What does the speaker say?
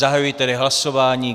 Zahajuji tedy hlasování.